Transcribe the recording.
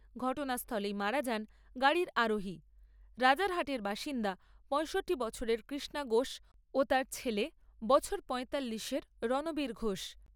ঘটনাস্থলেই মারা যান গাড়ির আরোহী, রাজারহাটের বাসিন্দা পয়ষট্টি বছরের কৃষ্ণা ঘোষ ও তাঁর ছেলে বছর পয়তাল্লিশ এর রণবীর ঘোষ।